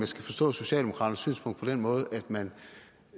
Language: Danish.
skal forstå socialdemokraternes synspunkt på den måde at man